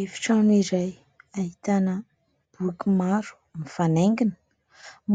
Efitrano iray ahitana boky maro mifanaingina